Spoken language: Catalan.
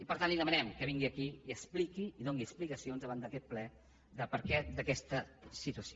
i per tant li demanem que vingui aquí i doni explicacions davant d’aquest ple del perquè d’aquesta situació